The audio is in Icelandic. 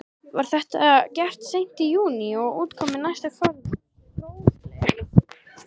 Var þetta gert seint í júní og útkoman næsta fróðleg.